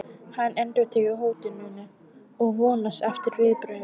Hann endurtekur hótunina og vonast eftir viðbrögðum.